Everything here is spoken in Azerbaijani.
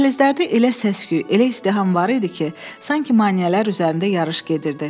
Dəhlizlərdə elə səs-küy, elə izdiham var idi ki, sanki maneələr üzərində yarış gedirdi.